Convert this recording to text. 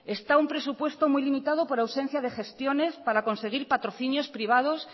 está un presupuesto muy limitado por ausencia de gestiones para conseguir patrocinios privados